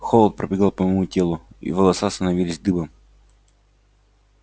холод пробегал по моему телу и волоса становились дыбом